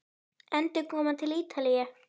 Endurkoma til Ítalíu?